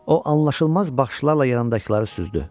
O anlaşılmaz baxışlarla yanındakıları süzdü.